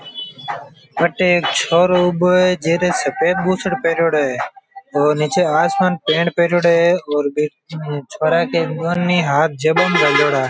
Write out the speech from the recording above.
अटे एक छोरो ऊबो है जीरे सफ़ेद बुसेट पहरयोड़ो है और नीचे आसमान पेंट पहरयोड़ो है और बी छोरा के दौनी हाथ जेबा में गाल्योड़ा है।